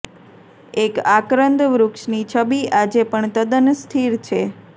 એક આક્રંદ વૃક્ષની છબી આજે પણ તદ્દન સ્થિર છે